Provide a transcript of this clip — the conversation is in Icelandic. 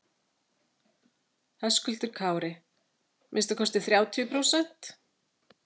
Höskuldur Kári: Minnsta kosti þrjátíu prósent?